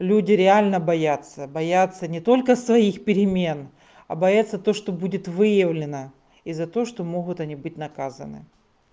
люди реально боятся боятся не только своих перемен а боятся то что будет выявлено и за то что могут они быть наказаны